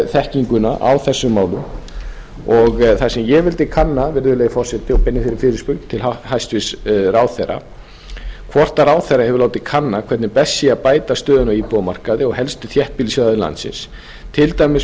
þekkinguna á þessum málum það sem ég vildi kanna virðulegi forseti og beini þeirri fyrirspurn til hæstvirts ráðherra hvort ráðherra hefur látið kanna hvernig best sé að bæta stöðuna á íbúðamarkaði á helstu þéttbýlissvæðum landsins til dæmis með